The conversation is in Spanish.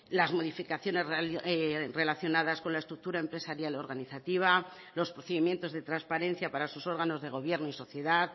las modificaciones relacionadas con la estructura empresarial organizativa los procedimientos de transparencia para sus órganos de gobierno y sociedad